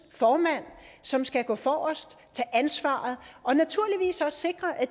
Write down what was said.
formand som skal gå forrest tage ansvar og naturligvis også sikre at